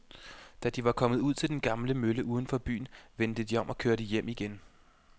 Da de var kommet ud til den gamle mølle uden for byen, vendte de om og kørte hjem igen.